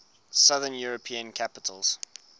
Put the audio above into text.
southern european capitals